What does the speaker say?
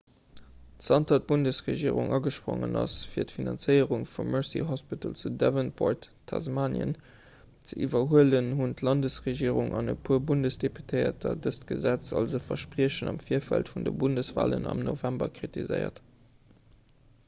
zanter d'bundesregierung agesprongen ass fir d'finanzéierung vum mersey hospital zu devonport tasmanien ze iwwerhuelen hunn d'landesregierung an e puer bundesdeputéierter dëst gesetz als e verspriechen am virfeld vun de bundeswalen am november kritiséiert